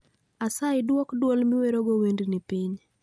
Asayi dwok dwol ma iwerogo wendni piny